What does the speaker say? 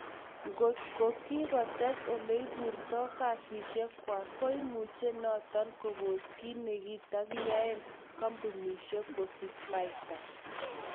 Kot ko kikotes oleiburto kazishekhwak, koimuche noton kopos kit nekatayae kampunishrk kosich paita